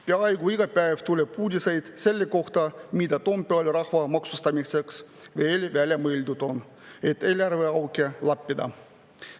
Peaaegu iga päev tuleb uudiseid selle kohta, mida Toompeal rahva maksustamiseks veel välja mõeldud on, et eelarveauke lappida.